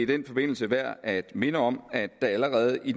den forbindelse værd at minde om at der allerede i